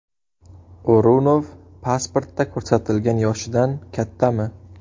O‘runov pasportda ko‘rsatilgan yoshidan kattami?